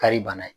Kari bana ye